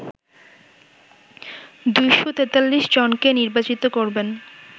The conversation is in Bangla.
২৪৩ জনকে নির্বাচিত করবেন